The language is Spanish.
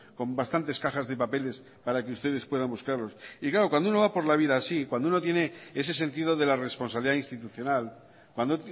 con bastantes cajas de papeles para que ustedes puedan buscarlos y claro cuando uno va por la vida así cuando uno tiene ese sentido de la responsabilidad institucional cuando